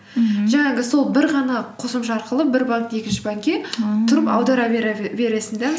мхм жаңағы сол бір ғана қосымша арқылы бір банк екінші банкке ааа тұрып аудара бересің де